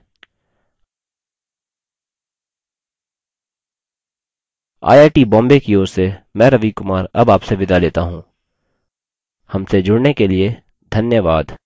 I I T Bombay की ओर से मैं रवि कुमार अब आपसे विदा लेता हूँ हमसे जुड़ने के लिए धन्यवाद